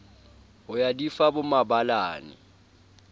ho ya di fa bomabalane